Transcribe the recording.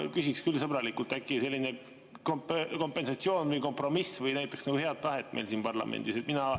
Ma küsiksin küll sõbralikult: äkki selline kompensatsioon või kompromiss näitaks head tahet meil siin parlamendis?